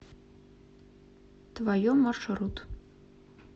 твое маршрут